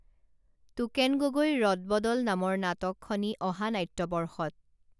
token গগৈৰ ৰদবদল নামৰ নাটকখনি অহা নাট্যবৰ্ষত